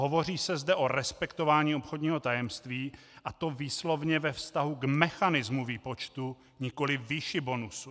Hovoří se zde o respektování obchodního tajemství, a to výslovně ve vztahu k mechanismu výpočtu, nikoliv výši bonusu.